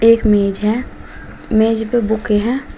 एक मेज है। मेज पर बुके है।